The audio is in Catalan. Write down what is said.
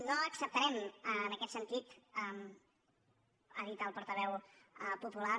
no acceptarem en aquest sentit ha dit el portaveu popular